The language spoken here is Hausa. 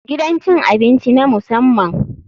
Gidan cin abinci na musamman.